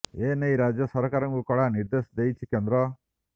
ଏ ନେଇ ରାଜ୍ୟ ସରକାରଙ୍କୁ କଡ଼ା ନିର୍ଦ୍ଦେଶ ଦେଇଛି କେନ୍ଦ୍ର